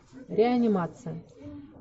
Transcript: реанимация